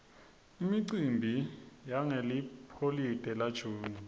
imicimbi yangeliholide la june